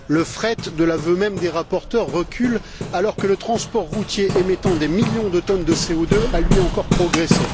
Le fret, de l'aveu même des rapporteurs, recule alors que le transport routier émettant des millions de tonnes de CO2 a, lui, encore progressé.